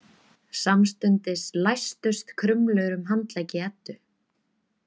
Samstundis læstust krumlur um handleggi Eddu.